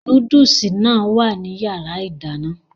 Núdùsì náà wà ní yàrá ìdáná